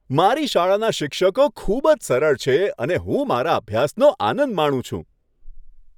મારી શાળાના શિક્ષકો ખૂબ જ સરળ છે અને હું મારા અભ્યાસનો આનંદ માણું છું.